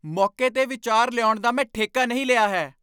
ਮੌਕੇ 'ਤੇ ਵਿਚਾਰ ਲਿਆਉਣ ਦਾ ਮੈਂ ਠੇਕਾ ਨਹੀਂ ਲਿਆ ਹੈ।